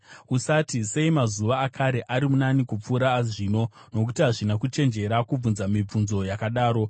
Usati, “Sei mazuva akare ari nani kupfuura azvino?” Nokuti hazvina kuchenjera kubvunza mibvunzo yakadaro.